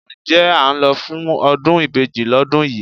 Ǹjẹ́ à ń lọ fún ọdún ìbejì ọlọ́dún yìí?